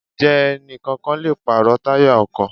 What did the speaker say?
Ǹjẹ́ ẹni kọ̀ọ̀kan lè pàrọ̀ táyà ọkọ̀?